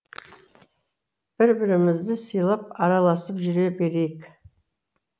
бір бірімізді сыйлап араласып жүре берейік